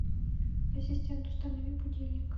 ассистент установи будильник